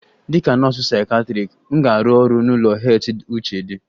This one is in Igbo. Dịka nọọsụ psychiatric, m ga-arụ ọrụ n'ụlọ heath uche d